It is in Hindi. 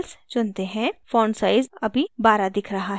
font size अभी 12 दिख रहा है